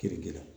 Kiriki la